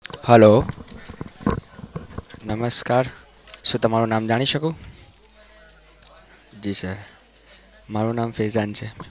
હાલો, નમસ્કાર શું તમારું નામ જાણી શકું? જી સર મારું નામ ફેજાન છે